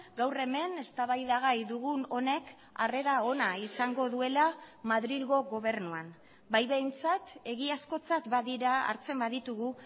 gaur hemen eztabaidagai dugun honek harrera ona izango duela madrilgo gobernuan bai behintzat egiazkotzat badira hartzen baditugu